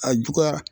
A juguyara